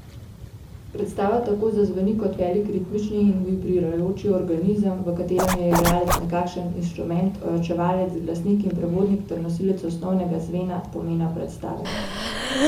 Predstava tako zazveni kot velik ritmični in vibrirajoč organizem, v katerem je igralec nekakšen instrument, ojačevalec, glasnik in prevodnik ter nosilec osnovnega zvena, pomena predstave.